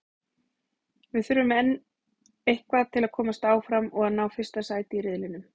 Við þurfum enn eitthvað til að komast áfram og að ná fyrsta sæti í riðlinum.